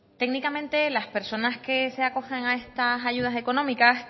técnicamente las personas que se acojan a estas ayudas económicas